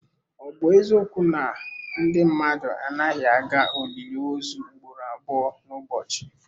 Ọ bụ eziokwu na ndị mmadụ anaghị aga olili ozu ugboro abụọ n'ụbọchị?